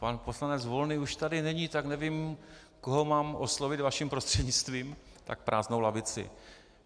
Pan poslanec Volný už tady není, tak nevím, koho mám oslovit vaším prostřednictvím, tak prázdnou lavici.